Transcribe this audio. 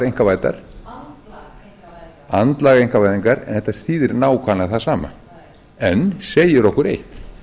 einkavæddar andlag einkavæðingar andlag einkavæðingar en þetta áður nákvæmlega það sama en segir okkur eitt